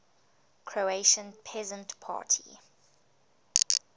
croatian peasant party